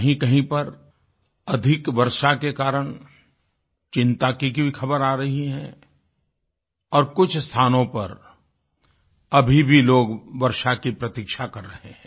कहींकहीं पर अधिक वर्षा के कारण चिन्ता की भी ख़बर आ रही है और कुछ स्थानों पर अभी भी लोग वर्षा की प्रतीक्षा कर रहे हैं